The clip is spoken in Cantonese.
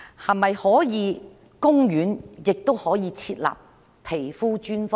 可否在公立醫院設立皮膚專科呢？